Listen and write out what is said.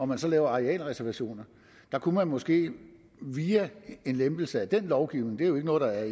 man så laver arealreservationer der kunne man måske via en lempelse af den lovgivning det er jo ikke noget der